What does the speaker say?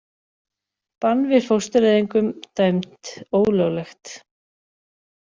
Bann við fóstureyðingum dæmt ólöglegt